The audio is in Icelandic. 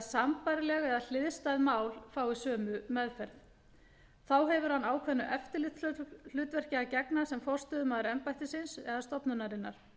sambærileg eða hliðstæð mál fái sömu meðferð þá hefur hann ákveðnu eftirlitshlutverki að gegna sem forstöðumaður embættisins stofnunarinnar